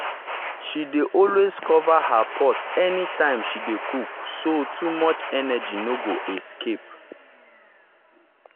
she dey always cover her pot anytime she dey cook so too much energy no go escape.